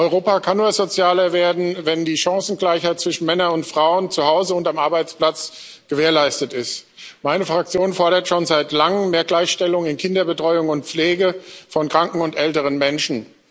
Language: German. Europa kann nur sozialer werden, wenn die Chancengleichheit zwischen Männern und Frauen zu Hause und am Arbeitsplatz gewährleistet ist. Meine Fraktion fordert schon seit Langem mehr Gleichstellung in Kinderbetreuung und Pflege von kranken und älteren Menschen.